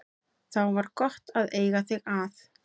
Þá var gott að eiga þig að.